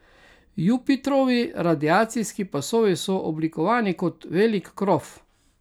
Jupitrovi radiacijski pasovi so oblikovani kot velik krof.